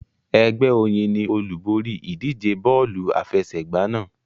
Ẹgbẹ́ Oyin ni olúborí ìdíje bọ́ọ̀lù àfẹsẹ̀gbá náà.